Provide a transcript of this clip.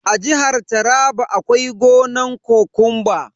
A jihar taraba akwai gonan kokumba.